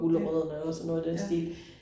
Ja, ja